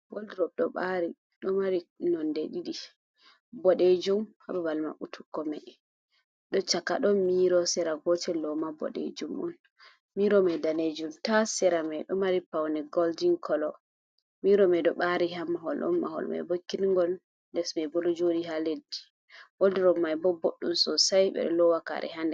Waldurob do bari do mari nonde ɗidi bodejum hababal mabbutugo ma do chaka don miro sera gotel do ma bodejum on miro mai danejum tas sera mai do mari paune goldin colo miro mai do bari ha maholon, mahol mai bo kingol lesma bo jodi ha leddi, waldurob mai bo boddum sosai bedo lowa kare ha nder.